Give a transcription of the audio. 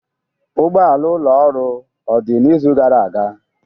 Ụgbọala ụlọ ọrụ odị n'izu gara aga?